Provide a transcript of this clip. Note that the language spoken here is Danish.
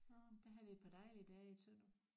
Der havde vi et par dejlige dage i Tønder